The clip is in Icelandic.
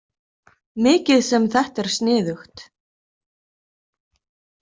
Mikið sem þetta er sniðugt.